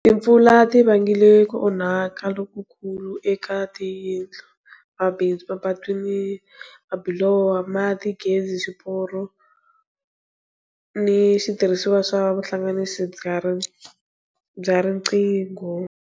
Timpfula ti vangile ku onhaka lokukulu eka tindlu, mabindzu, mapatu ni mabiloho, mati, gezi, swiporo ni switirhisiwa swa vuhlanganisi bya riqingho.